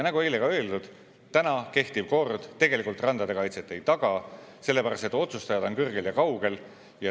Nagu eile ka öeldud, täna kehtiv kord tegelikult randade kaitset ei taga, sellepärast et otsustajad on kõrgel ja kaugel.